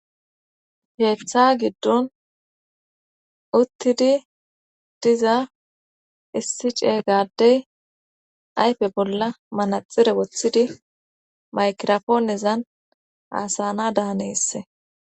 Keeththa giddon uttidi diza issi ce gaaddey ayfe bolla manaxire wothidi maykirofoonezan haasanadan hanees.